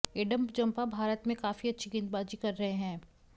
Adam Zampa Bharat में काफी अच्छी गेंदबाजी कर रहे हैं